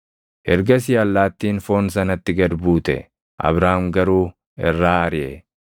Ergasii allaattiin foon sanatti gad buute; Abraam garuu irraa ariʼe.